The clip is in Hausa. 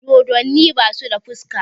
Dodonni basu da fuska